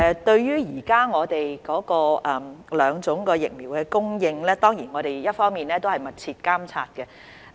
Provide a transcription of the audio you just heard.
對於現時兩種疫苗的供應，我們當然會密切監察。